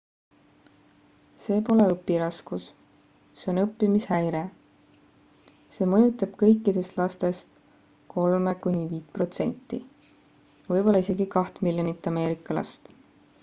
see pole õpiraskus see on õppimishäire. see mõjutab kõikidest lastest 3–5% võib-olla isegi 2 miljonit ameerika last